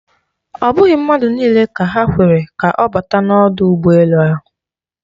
Ọ bụghị mmadụ niile ka ha kwere ka ọ bata n'ọdụ ụgbọ elu ahụ.